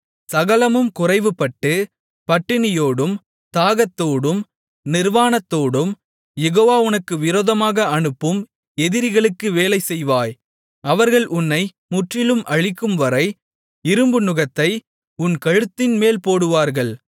சகலமும் குறைவுபட்டு பட்டினியோடும் தாகத்தோடும் நிர்வாணத்தோடும் யெகோவா உனக்கு விரோதமாக அனுப்பும் எதிரிகளுக்கு வேலைசெய்வாய் அவர்கள் உன்னை முற்றிலும் அழிக்கும்வரை இரும்பு நுகத்தை உன் கழுத்தின்மேல் போடுவார்கள்